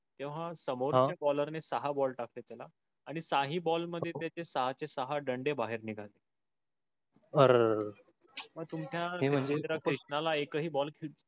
तेव्हा समोरच bowler ने सहा ball टाकते तेला आणि साही ball मधे त्याचे सहाचे सहा ball मधे डण्डे बाहर निगाले. अर पर तुमच्या मित्र कृष्णाला एक हि ball